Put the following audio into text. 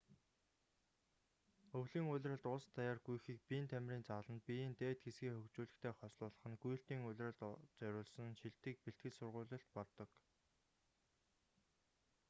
өвлийн улиралд улс даяар гүйхийг биеийн тамирын зааланд биеийн дээд хэсгээ хөгжүүлэхтэй хослуулах нь гүйлтийн улиралд зориулсан шилдэг бэлтгэл сургуулилт болдог